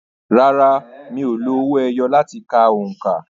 Rárá, mi ò lo owó ẹyọ láti ka òǹkà.